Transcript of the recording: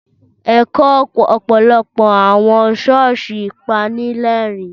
Ẹ̀kọ́ ọ̀pọ̀lọpọ̀ àwọn ṣọ́ọ̀ṣì pani lẹ́rìn-ín.